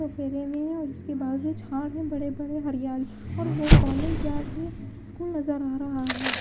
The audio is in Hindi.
में और इसके बाजू छाड़ हैं के बड़े बड़े हरियाली और वो कॉलेज या फिर स्कूल नजर आ रहा है।